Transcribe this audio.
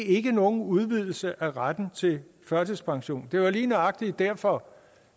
ikke er nogen udvidelse af retten til førtidspension det var lige nøjagtig derfor